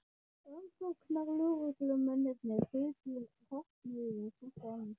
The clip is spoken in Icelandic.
Rannsóknarlögreglumennirnir gutu hornauga hvort á annað.